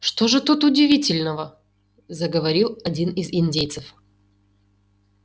что же тут удивительного заговорил один из индейцев